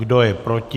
Kdo je proti?